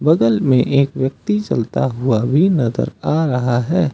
घर में एक व्यक्ति चलता हुआ भी नजर आ रहा है।